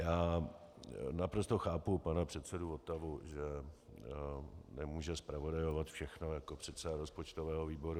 Já naprosto chápu pana předsedu Votavu, že nemůže zpravodajovat všechno jako předseda rozpočtového výboru.